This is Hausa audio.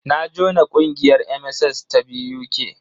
Na jona ƙungiyar MSS ta BUK.